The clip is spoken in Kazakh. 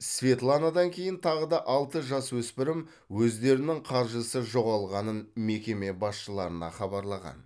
светланадан кейін тағы да алты жасөспірім өздерінің қаржысы жоғалғанын мекеме басшыларына хабарлаған